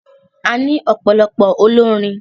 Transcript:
A ní ọ̀pọ̀lọpọ̀ olórin.